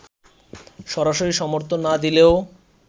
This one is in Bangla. সরাসরি সমর্থন না দিলেও